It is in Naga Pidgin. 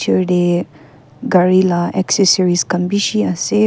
Ertey gare la accessory khan beshe ase--